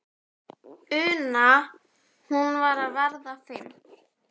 una, hún var að verða fimm.